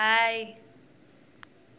hayi